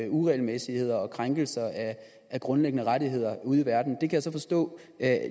uregelmæssigheder og krænkelser af grundlæggende rettigheder ude i verden jeg kan så forstå at